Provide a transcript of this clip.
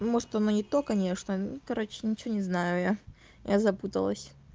ну может он и не то конечно ну короче ничего не знаю я я запуталась